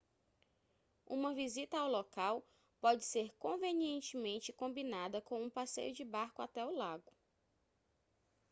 uma visita ao local pode ser convenientemente combinada com um passeio de barco até o lago